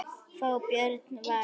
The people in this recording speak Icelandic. Fá Björn Val í það?